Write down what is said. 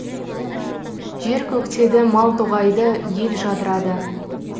жер көктеді мал тоғайды ел жадырады